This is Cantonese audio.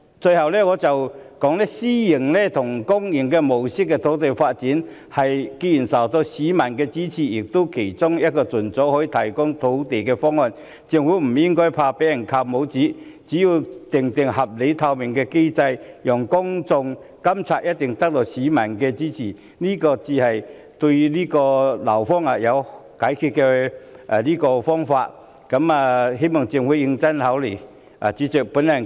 最後，以公私營合作模式發展土地既然受到市民支持，亦是其中一個可以盡早提供土地的方案，政府不應害怕被扣帽子，只要制訂合理和透明的機制讓公眾監察，一定會得到市民的支持，這才是解決樓荒之道，希望政府認真考慮。